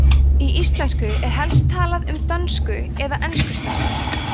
í íslensku er helst talað um dönsku eða enskuslettur